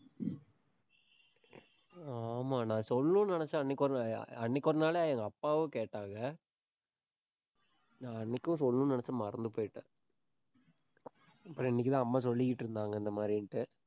ஆமா, நான் சொல்லணும்னு நினைச்சேன். அன்னைக்கு ஒரு நாள் அஹ் அஹ் அன்னைக்கு ஒரு நாளு எங்க அப்பாவும் கேட்டாங்க. நான் அன்னைக்கும் சொல்லணும்னு நினைச்சேன், மறந்து போயிட்டேன். அப்புறம் இன்னைக்குதான் அம்மா சொல்லிக்கிட்டு இருந்தாங்க இந்த மாதிரின்னுட்டு